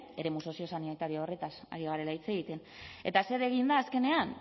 eremu soziosanitario horretaz ari garela hitz egiten eta zer egin da azkenean